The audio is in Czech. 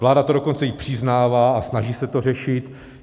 Vláda to dokonce i přiznává a snaží se to řešit.